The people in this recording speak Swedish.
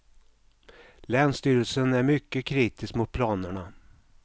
Länsstyrelsen är mycket kritisk mot planerna.